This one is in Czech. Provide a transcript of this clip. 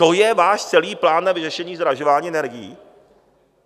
To je váš celý plán na vyřešení zdražování energií?